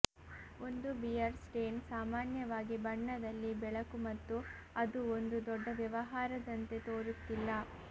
ಒಂದು beer stain ಸಾಮಾನ್ಯವಾಗಿ ಬಣ್ಣದಲ್ಲಿ ಬೆಳಕು ಮತ್ತು ಅದು ಒಂದು ದೊಡ್ಡ ವ್ಯವಹಾರದಂತೆ ತೋರುತ್ತಿಲ್ಲ